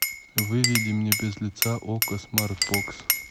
выведи мне без лица окко смарт бокс